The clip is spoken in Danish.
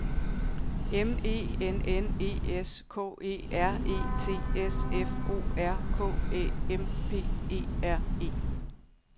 M E N N E S K E R E T S F O R K Æ M P E R E